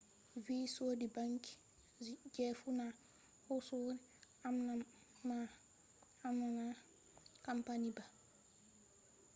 virginvi sodi ‘banki’ je funa husire amma na asset management campani ba